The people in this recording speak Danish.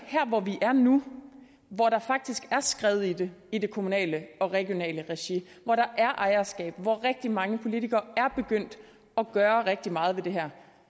her hvor vi er nu hvor der faktisk er skred i det i det kommunale og regionale regi hvor der er ejerskab hvor rigtig mange politikere er begyndt at gøre rigtig meget ved det her